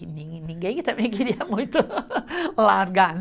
E nin ninguém também queria muito largar, né?